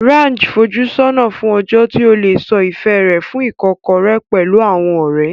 Raj ń fojú sọ́nà fún ọjọ́ tí ó lè sọ ìfẹ́ rẹ̀ fún Ìkọ́kọ̀rẹ́ pẹ̀lú àwọn ọ̀rẹ́.